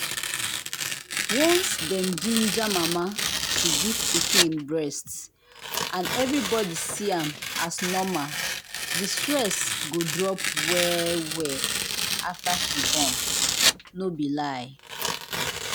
once dem ginger mama to give pikin breast and everybody see am as normal the stress go drop well-well after she born. no be lie.